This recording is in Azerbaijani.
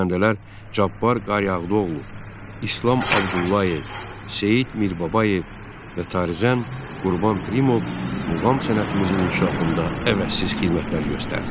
Xanəndələr Cabbar Qaryağdıoğlu, İslam Abdullayev, Seyid Mirbabayev və tarızən Qurban Pirimov muğam sənətimizin inkişafında əvəzsiz xidmətlər göstərdilər.